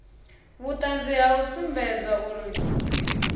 vhuṱanzi ha u sumbedza uri